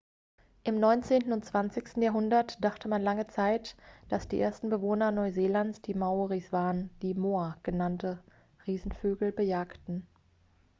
im neunzehnten und zwanzigsten jahrhundert dachte man lange zait dass die ersten bewohner neuseelands die maoris waren die moa genannte riesenvögel bejagten